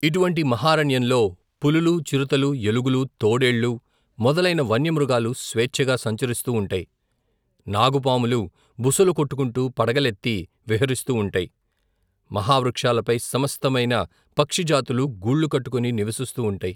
ఇటువంటి, మహారణ్యంలో పులులూ చిరుతలూ ఎలుగులూ తోడేళ్ళు మొదలైన వన్యమృగాలు స్వేచ్ఛగా సంచరిస్తూ వుంటై నాగుపాములు బుసలుకొట్టుకుంటూ పడగలెత్తి విహరిస్తూ వుంటై మహావృక్షాలపై సమస్తమైన పక్షిజాతులూ గూళ్లుకట్టుకొని నివసిస్తూ వుంటై.